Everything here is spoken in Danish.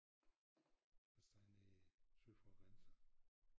Hvad satan hedder det syd for æ grænse